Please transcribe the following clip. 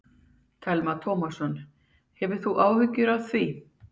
Telma Tómasson: Hefur þú áhyggjur af því?